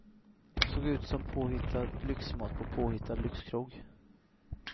Såg ut som påhittad lyxmat på påhittad lyxkrog.